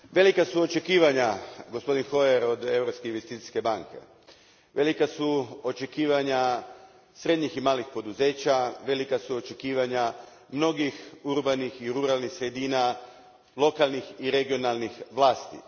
Gospodine predsjedniče, velika su očekivanja, gospodine Hoyer, od Europske investicijske banke. Velika su očekivanja srednjih i malih poduzeća, velika su očekivanja mnogih urbanih i ruralnih sredina, lokalnih i regionalnih vlasti.